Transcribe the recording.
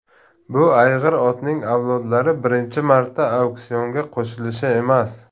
Bu ayg‘ir otning avlodlari birinchi marta auksionga qo‘yilishi emas.